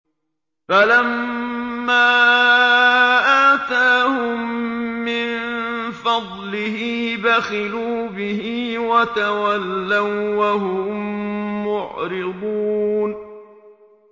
فَلَمَّا آتَاهُم مِّن فَضْلِهِ بَخِلُوا بِهِ وَتَوَلَّوا وَّهُم مُّعْرِضُونَ